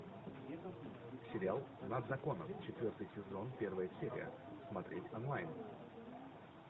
сериал над законом четвертый сезон первая серия смотреть онлайн